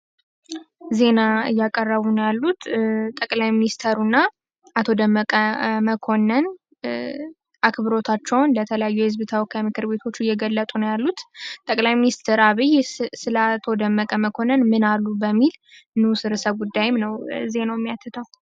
ዜና እያቀረቡ ነው ያሉት ጠቅላይ ሚኒስትሩ እና አቶ ደመቀ መኮነን አክብሮታቸውን ለተለያዩ የህዝብ ተወካይ ምክር ቤቶች እየገለፁ ነው ያሉት። ጠቅላይ ሚኒስትር አብይ ስለ አቶ ደመቀ መኮነን ምን አሉ በሚል ንዑስ ርዕሰ ጉዳይም ነው ዜናው ሚያትተው።